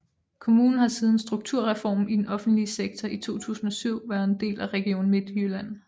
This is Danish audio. Kommunen har siden Strukturreformen i den offentlige sektor i 2007 været en del af Region Midtjylland